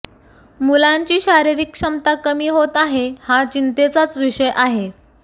मुलांची शारीरिक क्षमता कमी होत आहे हा चिंतेचाच विषय आहे